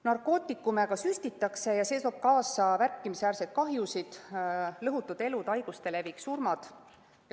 Narkootikume ka süstitakse ja see toob kaasa märkimisväärseid kahjusid: lõhutud elud, haiguste levik ja surmad.